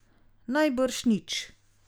Najbrž nič.